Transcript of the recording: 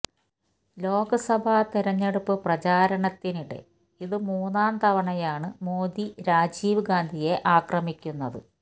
ലോക്സഭ തിരഞ്ഞെടുപ്പ് പ്രചാരണത്തിനിടെ ഇത് മൂന്നാം തവണയാണ് മോദി രാജീവ് ഗാന്ധിയെ ആക്രമിക്കുന്നത്